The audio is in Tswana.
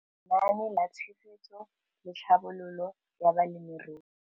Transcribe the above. Lenaane la Tshegetso le Tlhabololo ya Balemirui